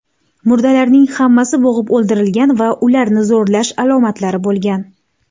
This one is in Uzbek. Murdalarning hammasi bo‘g‘ib o‘ldirilgan va ularni zo‘rlash alomatlari bo‘lgan.